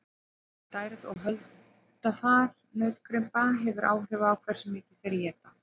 stærð og holdafar nautgripa hefur áhrif á hversu mikið þeir éta